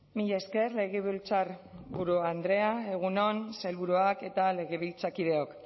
mila esker legebiltzarburu andrea egun on sailburuak eta legebiltzarkideok